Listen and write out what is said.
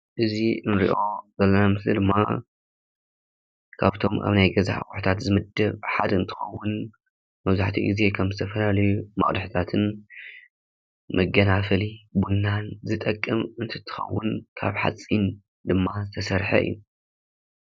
እዚ እንሪኦ ዘለና ምስሊ ድማ ካብቶም ናይ ገዛ አቁሑታት ዝምደብ ሓደ እንትከውንመብዛሕትኡ ግዜ ካብ ዝተፈላለየን መቅድሕታትን መጋናፈሊቡና ንዝጠቅም እንትከውን ካብ ሐፂን ድማ ዝተሰርሐ እዩ፡፡